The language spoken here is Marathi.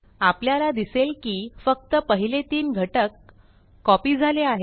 आपल्याला दिसेल की फक्त पहिले तीन घटक कॉपी झाले आहेत